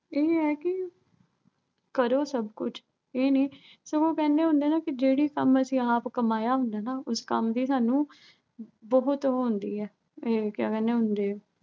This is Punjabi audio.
ਇਹ ਐ ਕਿ ਕਰੋ ਸਭ ਕੁਛ। ਇਹ ਨੀਂ, ਸਗੋਂ ਉਹ ਕਹਿੰਦੇ ਹੁੰਦੇ ਆ ਨਾ ਅਹ ਕਿ ਜਿਹੜਾ ਕੰਮ ਅਸੀਂ ਆਪ ਕਮਾਇਆ ਹੁੰਦਾ ਨਾ ਅਹ ਉਸ ਕੰਮ ਦੀ ਸਾਨੂੰ ਬਹੁਤ ਉਹੋ ਹੁੰਦੀ ਆ। ਇਹ ਕਿਆ ਕਹਿੰਦੇ ਹੁੰਦੇ ਆ।